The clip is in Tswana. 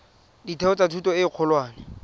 ditheo tsa thuto e kgolwane